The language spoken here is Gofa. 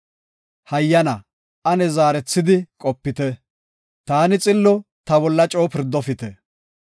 Hayyana, ane zaarethidi qopite; taani xillo ta bolla coo pirdofite.